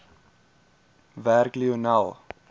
werk lionel